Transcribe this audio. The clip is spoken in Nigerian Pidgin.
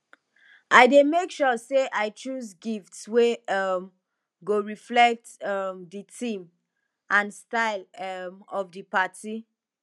i dey make sure say i choose gifts wey um go reflect um di theme and style um of di party